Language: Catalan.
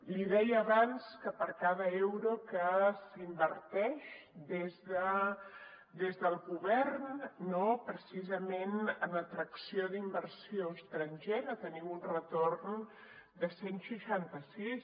li deia abans que per cada euro que s’inverteix des del govern no precisament en atracció d’inversió estrangera tenim un retorn de cent i seixanta sis